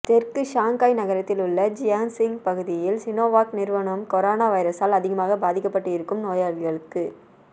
தெற்கு ஷாங்காய் நகரத்தில் உள்ள ஜியாசிங் பகுதியில் சீனோவாக் நிறுவனம் கொரோனா வைரஸால் அதிகமாக பாதிக்கப்பட்டு இருக்கும் நோயாளிகளுக்கு